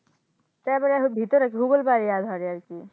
তারপরে ভিতরে .